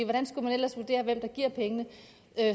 hvordan skulle man ellers vurdere hvem der giver pengene